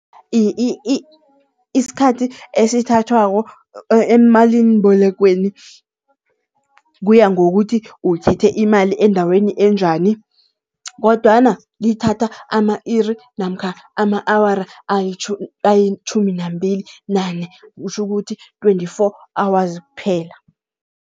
Isikhathi esithathwako emalimbolekweni, kuya ngokuthi uthethe imali endaweni enjani. Kodwana lithatha ama-iri namkha ama-awara ayitjhumi nambili nane kutjhukuthi twenty-four hours kuphela.